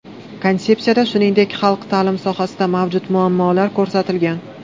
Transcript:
Konsepsiyada shuningdek, xalq ta’limi sohasidagi mavjud muammolar ko‘rsatilgan.